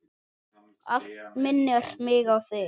Allt minnir mig á þig.